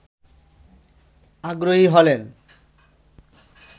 আগ্রহী হলেন